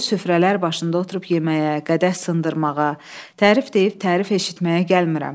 Dolu süfrələr başında oturub yeməyə, qədəh sındırmağa, tərif deyib tərif eşitməyə gəlmirəm.